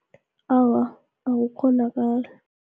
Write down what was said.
Awa akukghonakali.